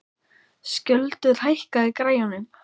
Skjöldur, hækkaðu í græjunum.